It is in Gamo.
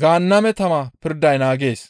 Gaanname tama pirday naagees.